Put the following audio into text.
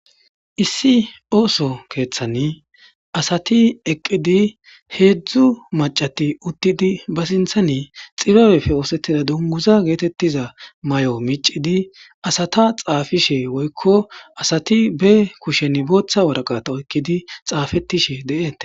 Issi ooso keeththan asati eqqidi heedzdzu macati uttidi ba sinthani xibabefe oosettida dunguza geetettiza may7o micidi asata xaafishe woykko asati be kushen booththa waraqata oykkidi xaafetishe de7eete.